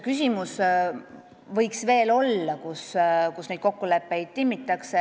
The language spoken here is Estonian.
Küsimus oli, kus on see koht, kus võiks neid kokkuleppeid veel timmida.